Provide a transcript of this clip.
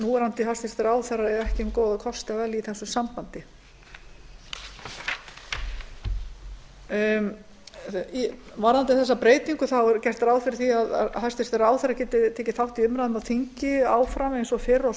núverandi hæstvirtir ráðherrar eiga ekki um góða kosti að velja í þessu sambandi varðandi þessa breytingu er gert ráð fyrir því að hæstvirtur ráðherra geti tekið þátt í umræðum á þingi áfram eins og fyrr og